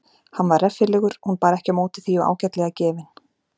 Hann var reffilegur hún bar ekki á móti því og ágætlega gefinn.